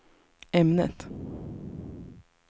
ämnet